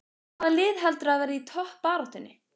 Hvaða lið heldurðu að verði í toppbaráttunni?